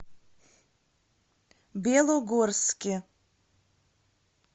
белогорске